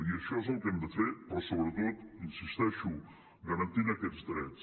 i això és el que hem de fer però sobretot hi insisteixo garantint aquests drets